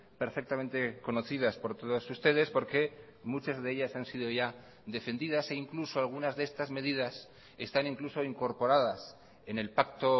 perfectamente conocidas por todos ustedes porque muchas de ellas han sido ya defendidas e incluso algunas de estas medidas están incluso incorporadas en el pacto